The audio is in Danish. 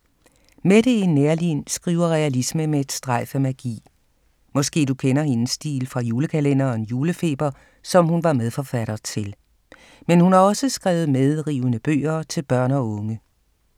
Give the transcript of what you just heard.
Mette E. Neerlin skriver realisme med et strejf af magi. Måske du kender hendes stil fra julekalenderen Julefeber, som hun var medforfatter til. Men hun har også skrevet medrivende bøger til børn og unge.